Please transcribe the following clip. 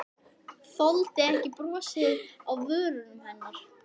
Þoldi ekki brosið á vörum hennar.